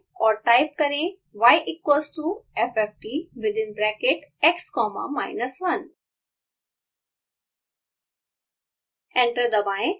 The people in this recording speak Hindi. एंटर दबाएँ और टाइप करें y = fftx1 y equals to fft within bracket x comma minus one